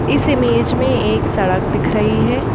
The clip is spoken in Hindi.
इस इमेज में एक सड़क दिख रही है।